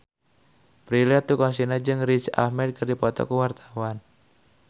Prilly Latuconsina jeung Riz Ahmed keur dipoto ku wartawan